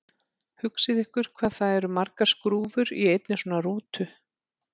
Hugsið ykkur hvað það eru margar skrúfur í einni svona rútu!